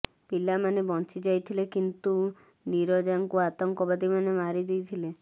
ପିଲାମାନେ ବଞ୍ଚି ଯାଇଥିଲେ କିନ୍ତୁ ନୀରଜାଙ୍କୁ ଆତଙ୍କବାଦୀମାନେ ମାରି ଦେଇଥିଲେ